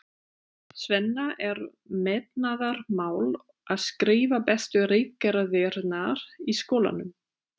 Svenna er metnaðarmál að skrifa bestu ritgerðirnar í skólanum.